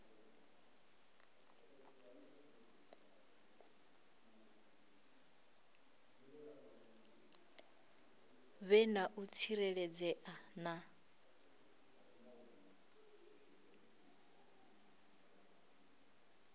vhe na u tsireledzea na